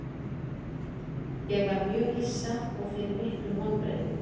Ég var mjög hissa og fyrir miklum vonbrigðum.